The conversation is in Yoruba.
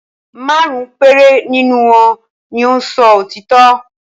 Márùn-ún péré nínú wọn ni ó ń sọ òtítọ́.